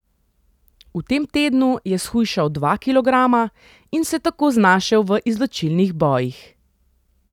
V tem tednu je shujšal dva kilograma in se tako znašel v izločilnih bojih.